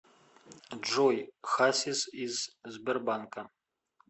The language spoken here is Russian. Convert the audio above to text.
джой хасис из сбербанка